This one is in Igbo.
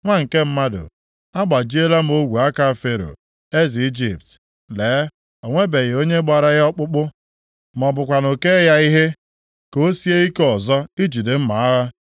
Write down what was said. “Nwa nke mmadụ, agbajiela m ogwe aka Fero, eze Ijipt. Lee, o nwebeghị onye gbara ya ọkpụkpụ, ma ọ bụkwanụ kee ya ihe, ka o sie ike ọzọ ijide mma agha.